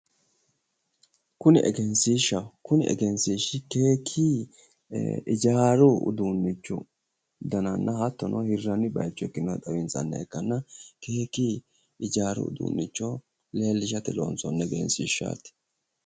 Kuni egensiishaho kuni egensiishi keeki ijaaru uduunnichi dananna hattono hirranni bayicho xawinsanniha ikkanna keeki ijaaru uduunnicho leellishate loonsoonni egenshiishaati